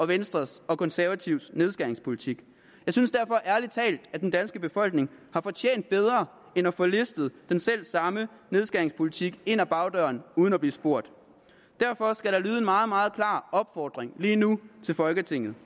venstres og konservatives nedskæringspolitik jeg synes derfor ærlig talt at den danske befolkning har fortjent bedre end at få listet den selvsamme nedskæringspolitik ind ad bagdøren uden at blive spurgt derfor skal der lyde en meget meget klar opfordring lige nu til folketinget